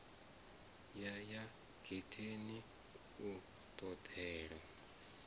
ya ya getheni u ṱolela